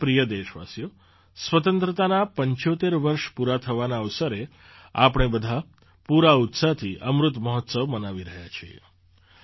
મારા પ્રિય દેશવાસીઓ સ્વતંત્રતાનાં ૭૫ વર્ષ પૂરા થવાના અવસરે આપણે બધાં પૂરા ઉત્સાહથી અમૃત મહોત્સવ મનાવી રહ્યાં છીએ